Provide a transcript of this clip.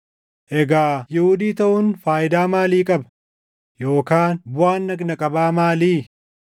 Egaa Yihuudii taʼuun faayidaa maalii qaba? Yookaan buʼaan dhagna qabaa maalii?